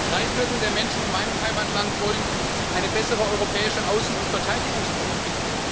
Drei Viertel der Menschen in meinem Heimatland wollen eine bessere europäische Außen und Verteidigungspolitik.